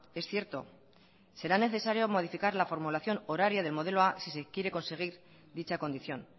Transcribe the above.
es cierto será necesario modificar la formulación horaria del modelo a si se quiere conseguir dicha condición